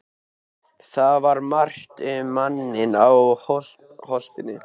Það var margt um manninn á Holtinu.